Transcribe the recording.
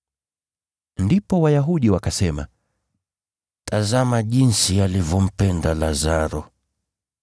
Ndipo Wayahudi wakasema, “Tazama jinsi alivyompenda Lazaro!”